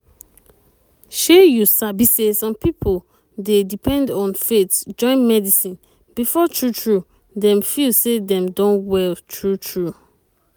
shey you sabi say some pipo dey depend on faith join medicine before true true dem feel say dem don well true true.